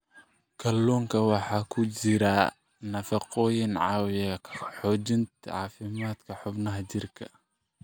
Kalluunka waxaa ku jira nafaqooyin caawiya xoojinta caafimaadka xubnaha jirka.